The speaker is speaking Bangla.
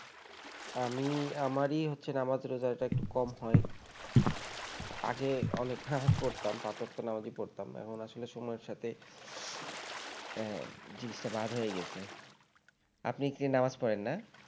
তা আমি আমারই হচ্ছে নামাজ রোজা এটা একটু কম হয় আগে অনেক নামাজ পড়তাম পাঁচ ওয়াক্ত নামাজই পড়তাম এখন আসলে সময়ের সাথে আহ জিনিসটা বাদ হয়ে গেছে আপনি কি নামাজ পড়েন না